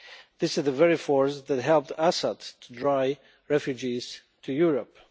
This is the very force that helped Assad drive refugees to Europe.